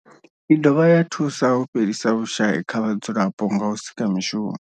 I dovha ya thusa u fhelisa vhushayi kha vhadzulapo nga u sika mishumo.